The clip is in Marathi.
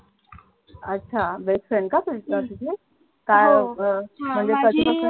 अच्छा best friend का तुझी काय अह म्हणजे कधी पासून